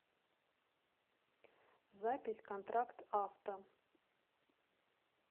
запись контракт авто